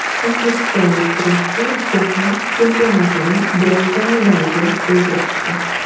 O‘zbekistonlik kurashchi Jahon chempionatining bronza medaliga ega chiqdi.